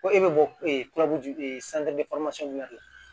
Ko e bɛ bɔ de la